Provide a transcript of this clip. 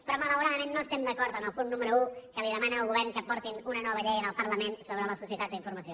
però malauradament no estem d’acord amb el punt número un que li demana al govern que aporti una nova llei al parlament sobre la societat de la informació